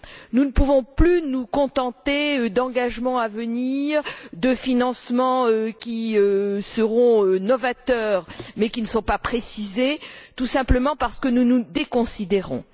Nous ne pouvons plus nous contenter d'engagements à venir, de financements qui seront novateurs mais ne sont pas précisés, tout simplement parce que nous nous déconsidérons.